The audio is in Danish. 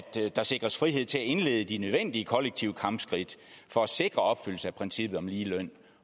der sikres frihed til at indlede de nødvendige kollektive kampskridt for at sikre opfyldelse af princippet om lige løn